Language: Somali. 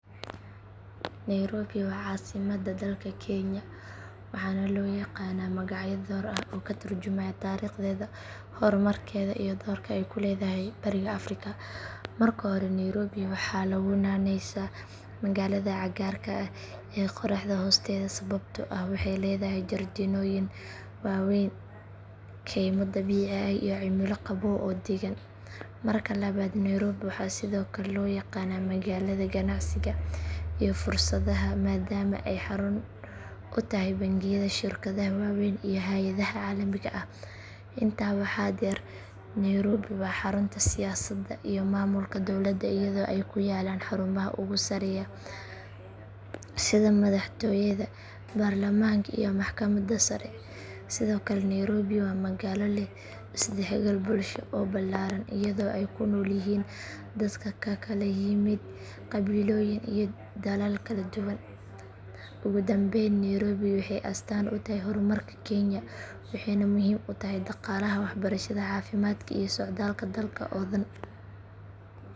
Nairobi waa caasimadda dalka kenya waxaana loo yaqaanaa magacyo dhowr ah oo ka tarjumaya taariikhdeeda, horumarkeeda iyo doorka ay ku leedahay bariga afrika. Marka hore nairobi waxaa lagu naaneysaa magaalada cagaarka ah ee qorraxda hoosteeda sababtoo ah waxay leedahay jardiinooyin waaweyn, kaymo dabiici ah iyo cimilo qabow oo deggan. Marka labaad nairobi waxaa sidoo kale loo yaqaanaa magaalada ganacsiga iyo fursadaha maadaama ay xarun u tahay bangiyada, shirkadaha waaweyn iyo hay’adaha caalamiga ah. Intaa waxaa dheer nairobi waa xarunta siyaasadda iyo maamulka dowladda iyadoo ay ku yaallaan xarumaha ugu sarreeya sida madaxtooyada, baarlamaanka iyo maxkamadda sare. Sidoo kale nairobi waa magaalo leh is dhexgal bulsho oo ballaaran iyadoo ay ku nool yihiin dad ka kala yimid qabiilooyin iyo dalal kala duwan. Ugu dambayn nairobi waxay astaan u tahay horumarka kenya waxayna muhiim u tahay dhaqaalaha, waxbarashada, caafimaadka iyo socdaalka dalka oo dhan.